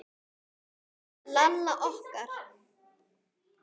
Lalla okkar.